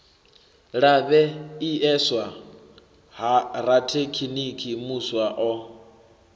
lavheieswa ha rathekiniki muswa o